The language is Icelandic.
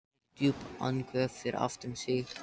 Heyrir djúp andköf fyrir aftan sig.